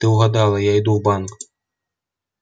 ты угадала я иду в банк